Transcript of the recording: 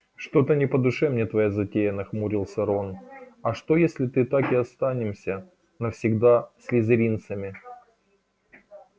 что-то не по душе мне твоя затея нахмурился рон а что если ты так и останемся навсегда слизеринцами